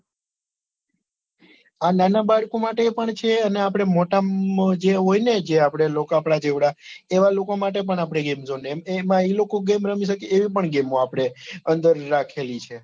આ નાના બાળકો માટે પણ છે અને આપડે મોટા માં જે હોય ને જે આપડે લોક આપદા જેવડા એવા લોકો માટે પણ આપડે game zone જેમકે એમાં એ game રમી શકે એવી પણ game આવે આપડે અંદર રાખેલી છે.